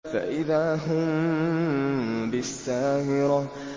فَإِذَا هُم بِالسَّاهِرَةِ